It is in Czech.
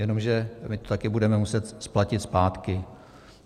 Jenomže my to taky budeme muset splatit zpátky.